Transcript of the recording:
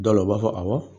Dɔw la u b'a fɔ awɔ